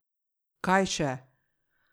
Kaj še?